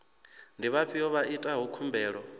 ndi vhafhio vha itaho khumbelo